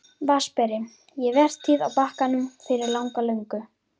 VATNSBERI: Ég var vertíð á Bakkanum fyrir langa löngu.